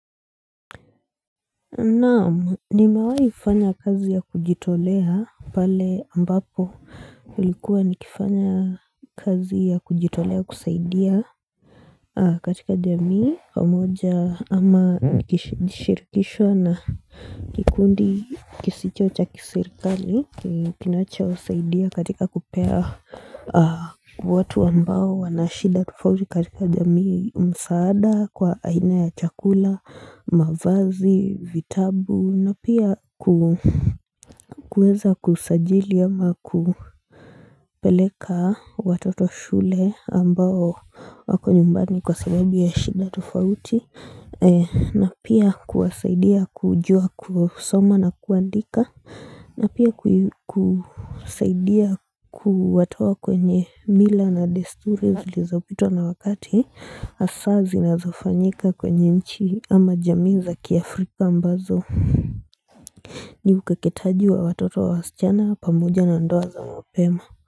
Naam nimewai fanya kazi ya kujitolea pale ambapo ulikuwa ni kifanya kazi ya kujitolea kusaidia katika jamii, pamoja ama nikishirikishwa na kikundi kisicho cha kiserikali Kinacho saidia katika kupea watu ambao wanashida tofauti katika jamii msaada kwa aina ya chakula, mavazi, vitabu na pia kuweza kusajili ama kupeleka watoto shule ambao wako nyumbani kwa sababu ya shida tofauti na pia kuwasaidia kujua kusoma na kuandika na pia kusaidia kuwatoa kwenye mila na desturi zilizo pitwa na wakati Hasa zinazofanyika kwenye nchi ama jamii za kiafrika ambazo ni ukeketaji wa watoto wa wasichana pamoja na ndoa za mapema.